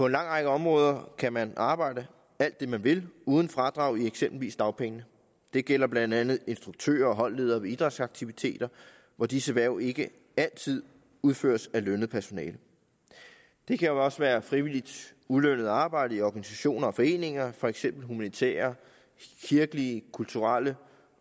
lang række områder kan man arbejde alt det man vil uden fradrag i eksempelvis dagpengene det gælder blandt andet instruktører og holdledere ved idrætsaktiviteter hvor disse hverv ikke altid udføres af lønnet personale det kan også være frivilligt ulønnet arbejde i organisationer og foreninger for eksempel humanitære kirkelige kulturelle